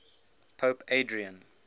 pope adrian